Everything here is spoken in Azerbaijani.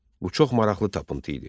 Bu çox maraqlı tapıntı idi.